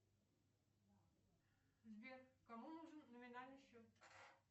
сбер кому нужен номинальный счет